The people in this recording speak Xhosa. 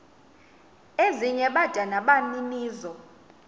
ezinye bada nabaninizo